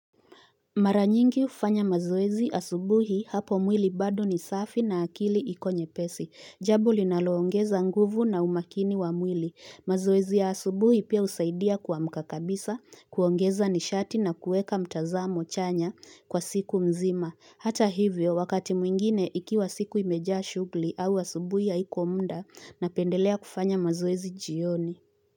Mara nyingi hufanya mazoezi asubuhi hapo mwili bado ni safi na akili iko nyepesi. Jambo linaloongeza nguvu na umakini wa mwili. Mazoezi ya asubuhi pia husaidia kuamka kabisa, kuongeza nishati na kuweka mtazamo chanya kwa siku mzima. Hata hivyo, wakati mwingine ikiwa siku imejaa shuguli au asubuhi haiko muda napendelea kufanya mazoezi jioni.